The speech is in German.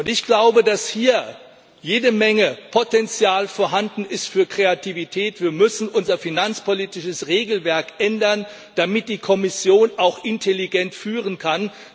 Ich glaube, dass hier jede Menge Potenzial für Kreativität vorhanden ist. Wir müssen unser finanzpolitisches Regelwerk ändern, damit die Kommission auch intelligent führen kann.